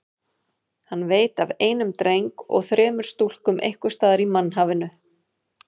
Hann veit af einum dreng og þremur stúlkum einhvers staðar í mannhafinu.